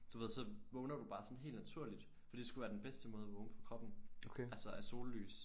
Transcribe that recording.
Du ved så vågner du bare sådan helt naturligt fordi det skulle være den bedste måde at vågne for kroppen altså af sollys